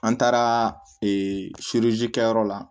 An taara kɛyɔrɔ la